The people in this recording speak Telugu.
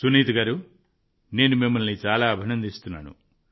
సునీత గారూ నేను మిమ్మల్ని చాలా అభినందిస్తున్నాను